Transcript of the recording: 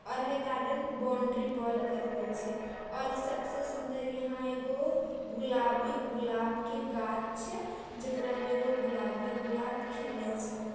और है garden boundary wall करला छै और सबसे सुन्दर इहां एगो गुलाबी गुलाब के गाछ छै जेकरा में एगो गुलाबी गुलाब खिलले छै।